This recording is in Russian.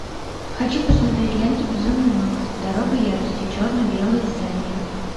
хочу посмотреть ленту безумный макс дорога ярости черно белое издание